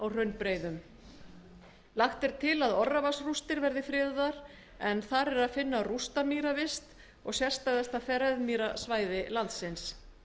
hraunbreiðum því lífríki sem þær hýsa lagt er til að orravatnsrústir verði friðaðar en þar er að finna rústamýravist og sérstæðasta freðmýrasvæði landsins